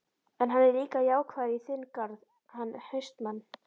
En, hann er líka jákvæður í þinn garð, hann HAustmann.